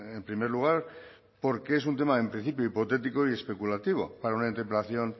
en primer lugar porque es un tema en principio hipotético y especulativo para una interpelación